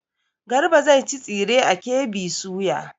Garba zai ci tsire a KB soya.